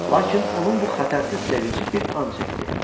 Lakin onun bu xətərsiz sevinci bir an çəkdi.